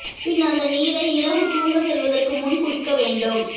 பின் அந்த நீரை இரவு தூங்க செல்வதற்கு முன் குடிக்க வேண்டும்